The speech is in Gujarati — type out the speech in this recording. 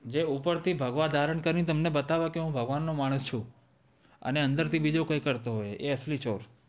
જે ઉપર થી ભાગવા ધારણ કરી ને જે બતાવે કે હું ભગવાન નો માણસ છું આને અંદર થી બીજો કોઈ કરતો હોઈ એ આસાલી ચોર છે